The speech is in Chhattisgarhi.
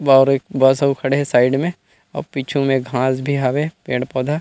बाहर एक बस अऊ खड़े हे साइड में अऊ पीछू में घास भी हवे पेड़ पौधा --